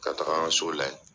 Ka taga an ka so lajɛ.